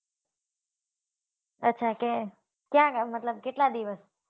અચ્છા ત્યાં મતલબ કેટલા દિવસ